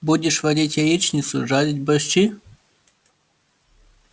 будешь варить яичницу жарить борщи